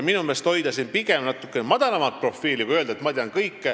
Minu meelest on igal juhul õigem hoida pigem natuke madalamat profiili ja mitte öelda, et ma tean kõike.